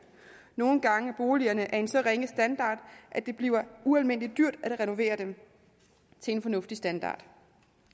nogle gange er boligerne af en så ringe standard at det bliver ualmindelig dyrt at renovere dem til en fornuftig standard